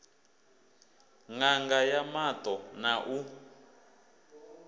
ṋanga ya maṱo na u